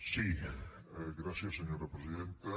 sí gràcies senyora presidenta